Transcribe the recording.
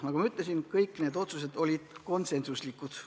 Nagu ma ütlesin, kõik need otsused olid konsensuslikud.